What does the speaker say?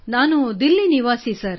ನಾನು ದಿಲ್ಲಿ ನಿವಾಸಿ ಸರ್